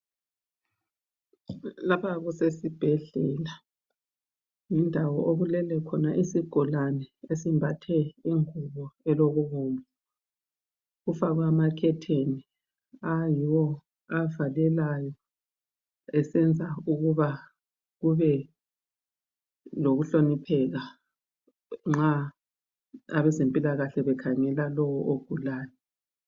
Lapha kusesibhedlela. Yindawo okulele khona isigulane esimbathe ingubo elokubomvu .Kufakwe amakhetheni ayiwo avalelayo esenza ukuba kube lokuhlonipheka nxa abezempilakahle bekhangela lowo ogulayo